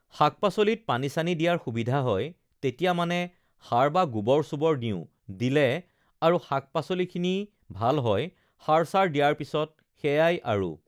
শাক-পাচলিত পানী-চানী দিয়াৰ সুবিধা হয় তেতিয়া মানে সাৰ বা গোবৰ-চোবৰ দিওঁ দিলে আৰু শাক-পাচলিখিনি ভাল হয় সাৰ-চাৰ দিয়াৰ পিছত সেইয়াই আৰু